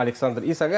Alexander Isak.